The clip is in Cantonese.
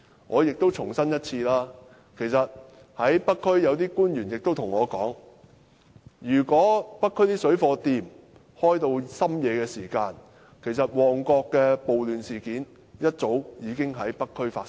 我亦重申一次，北區有官員對我說，如果北區的水貨店營業至深夜，其實旺角的暴亂事件會一早已在北區發生。